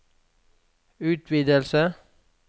utvidelse